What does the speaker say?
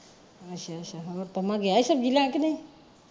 ਅੱਛਾ ਅੱਛਾ ਹੋਰ ਪੰਮਾ ਗਿਆ ਸੀ ਸਬਜ਼ੀ ਲੈਣ ਕੇ ਨਹੀਂ?